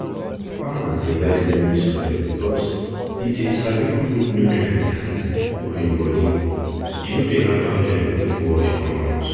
farmers dey like loamy soil because e dey sabi hold nutrients tight for im body e no dey allow dem quick wash comot